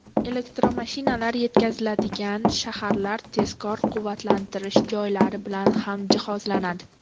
Elektromashinalar yetkaziladigan shaharlar tezkor quvvatlantirish joylari bilan ham jihozlanadi.